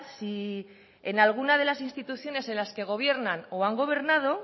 si en alguna de las instituciones en las que gobiernan o han gobernado